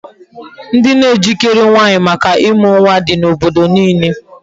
Ndị na ejikere nwaanyị maka ịmụ nwa di n'obodo niile.